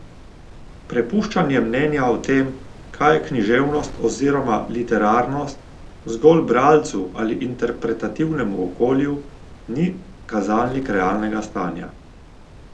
Prepuščanje mnenja o tem, kaj je književnost oziroma literarnost, zgolj bralcu ali interpretativnemu okolju, ni kazalnik realnega stanja.